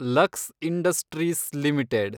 lux industries limited